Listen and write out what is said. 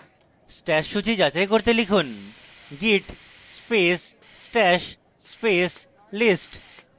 stash সূচী যাচাই করতে লিখুন: git space stash space list